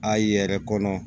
A ye yɛrɛ kɔnɔ